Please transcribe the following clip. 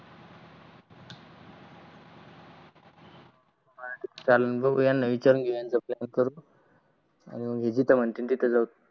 जिथ मानतील तित जाऊ